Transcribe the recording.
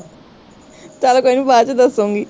ਚੱਲ ਕੋਈ ਨੀ ਬਾਦ ਚ ਦੱਸੂਗੀ